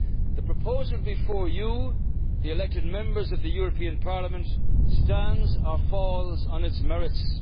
The proposal before you, the elected Members of the European Parliament, stands or falls on its merits.